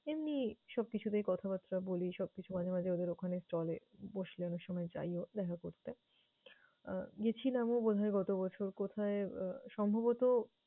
এমনি সবকিছুতেই কথাবার্তা বলি, সবকিছু মাঝে মাঝে ওদের ওখানে চলে, বসলে অনেকসময় যাইও দেখা করতে। আহ গেছিলাম বোধহয় গতবছর। কোথায়? আহ সম্ভবত